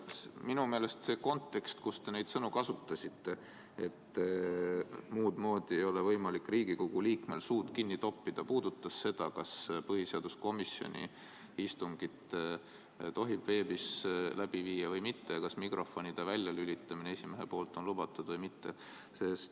Minu meelest see kontekst, kus te neid sõnu kasutasite, et muud moodi ei ole võimalik Riigikogu liikmel suud kinni toppida, oli seotud sellega, kas põhiseaduskomisjoni istungit tohib veebis läbi viia või mitte ja kas esimees tohib mikrofone välja lülitada, olgu see lubatud või mitte.